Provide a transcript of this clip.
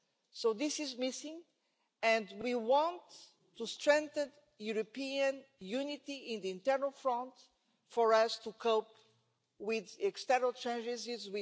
So this is missing, and we want to strengthen European unity on the internal front, with a united Europe, for us to be able to cope with external challenges.